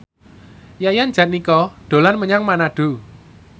Yayan Jatnika dolan menyang Manado